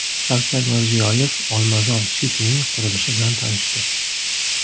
Shavkat Mirziyoyev Olmazor City’ning qurilishi bilan tanishdi.